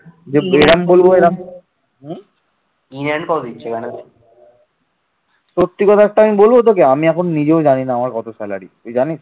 সত্যি কথা একটা আমি বলবো তোকে আমি এখন নিজেও জানিনা আমার কত salary । তুই জানিস